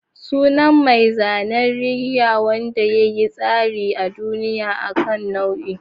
Sunan mai zanen reggae wanda ya yi tasiri a duniya akan nau'in.